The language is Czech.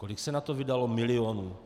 Kolik se na to vydalo milionů?